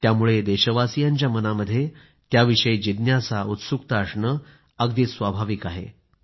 त्यामुळे देशवासियांच्या मनामध्ये त्याविषयी जिज्ञासा उत्सुकता असणं स्वाभाविक आहे